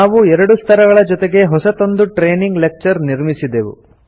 ನಾವು ಎರಡು ಸ್ತರಗಳ ಜೊತೆಗೆ ಹೊಸತೊಂದು ಟ್ರೈನಿಂಗ್ ಲೆಕ್ಚರ್ ನಿರ್ಮಿಸಿದೆವು